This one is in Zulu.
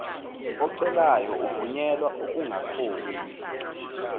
ocelayo evunyelwa ukungakhokhi